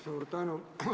Suur tänu!